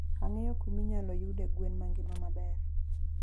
Angeyo kuminyaloyude gwen mangima maber.